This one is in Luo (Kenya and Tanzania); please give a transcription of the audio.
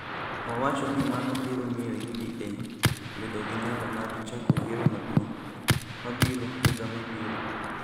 owacho ni mano biro miyo UDA bedo gi nyalo mar chako yiero maduong� mabiro higa mabiro.